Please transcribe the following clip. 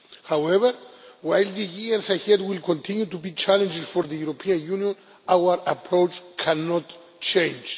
However, while the years ahead will continue to be challenging for the European Union, our approach cannot change.